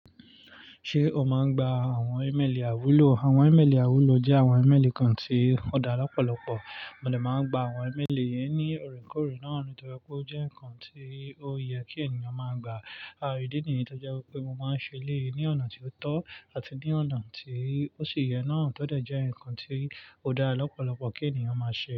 Ṣé o máa ń gba àwọn ẹ̀mẹ̀lì àiwúlò? Àwọn ẹ̀mẹ̀lì àiwúlò jẹ́ àwọn ẹ̀mẹ̀lì kan tí ó dára lọ́pọ̀lọpọ̀. Mo dè máa ń gba àwọn ẹ̀mẹ̀lì yẹn ní ọ̀rẹ́kọ̀ọ̀rẹ́ náà nítorí pé ó jẹ́ nǹkan tí ó yẹ kí ènìyàn máa gba àìríìdí nìyẹn. Nítorí pé mo máa ń ṣe léè ní ọ̀nà tí ó tọ́ àti ní ọ̀nà tí ó sì yẹ náà, tọ́ dẹ̀ jẹ́ ǹkan tí ó dára lọ́pọ̀lọpọ̀ kí ènìyàn máa ṣe.